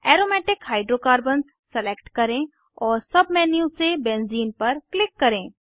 aromatic hydrocarbons select करें और submenu से बेंज़ीन पर क्लिक करें